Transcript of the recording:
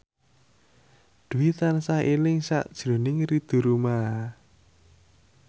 Dwi tansah eling sakjroning Ridho Roma